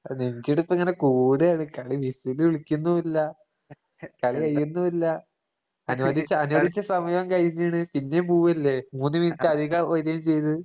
അ നെഞ്ചിടിപ്പിങ്ങനെ കൂടേണ് കളി വിസില് വിളിക്കുന്നുവില്ല. കളി കയ്യുന്നുവില്ല. അനുവദിച്ച അനുവദിച്ച സമയോം കഴിഞ്ഞീണ്. പിന്നേം പൂവല്ലേ? മൂന്ന് മിനിറ്റധികം വരേം ചെയ്ത്.